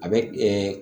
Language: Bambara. A bɛ